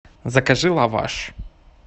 закажи лаваш